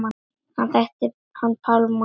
Ég þekkti hann Pálma.